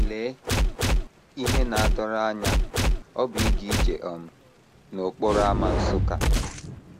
LEE ihe na - adọrọ anya ọ bụ ịga ije um n’okporo ámá Nsukka!